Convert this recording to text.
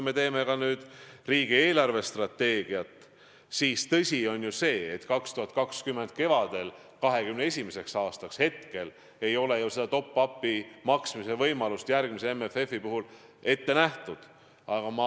Me teeme praegu ka riigi eelarvestrateegiat ja tõsi on see, et 2020. aasta kevadel 2021. aastaks seda top-up'i maksmise võimalust järgmise MFF-i puhul ette nähtud ei ole.